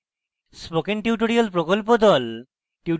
spoken tutorial প্রকল্প the